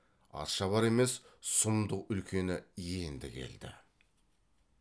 атшабар емес сұмдық үлкені енді келді